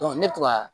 ne to ka